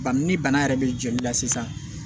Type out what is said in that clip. Bari ni bana yɛrɛ bɛ joli la sisan